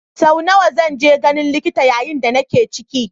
Sau nawa zan je ganin likita yayin da nake ciki?